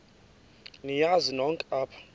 niyazi nonk apha